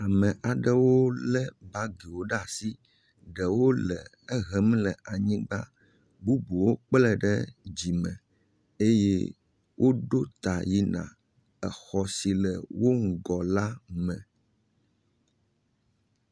Ame aɖewo lé bagiwo ɖe asi. Ɖewo le ehem le anyigba. Bubuwo kplɛɛ ɖe dzime eye woɖo ta yina exɔ si le wo ŋgɔ la me.